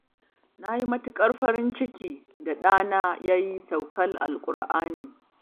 Na yi matuƙar farin ciki da ɗana ya yi saukar alƙur'ani.